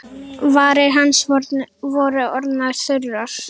Varir hans voru orðnar þurrar.